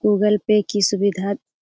Google Pay की सुविधा --